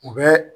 U bɛ